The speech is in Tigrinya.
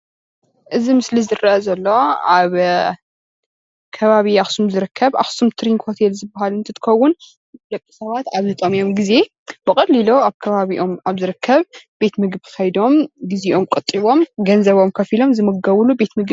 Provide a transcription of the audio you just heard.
እዚ ምስሊ ዝርአ ዘሎ ኣብ ከበበ ኣኽሱም ዝርከብ ኣኽሱም ቱሪንግ ሆቴል እንትኸውን ደቂ ኣብ ዝጠመዮም ግዜ ኸይዶም ዝምገብሉ እዩ።